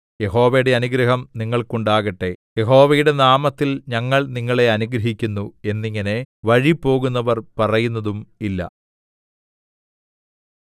യഹോവയുടെ അനുഗ്രഹം നിങ്ങൾക്കുണ്ടാകട്ടെ യഹോവയുടെ നാമത്തിൽ ഞങ്ങൾ നിങ്ങളെ അനുഗ്രഹിക്കുന്നു എന്നിങ്ങനെ വഴിപോകുന്നവർ പറയുന്നതും ഇല്ല